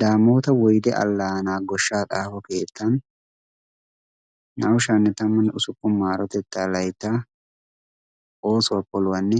daamoota woyde allaanaa goshshaa xaafo keettan na''u sha'anne tammanne usuppun maarotettaa laytta oosuwaa poluwaanne